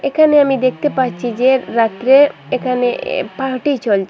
এখানে আমি দেখতে পাচ্ছি যে রাত্রে এখানে এ পার্টি চলছে।